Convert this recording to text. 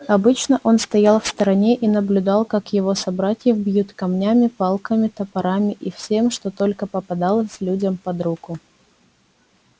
обычно он стоял в стороне и наблюдал как его собратьев бьют камнями палками топорами и всем что только попадалось людям под руку